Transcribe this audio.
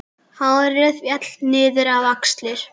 Hárið féll niður á axlir.